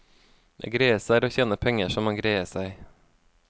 Det greieste er å tjene penger så man greier seg.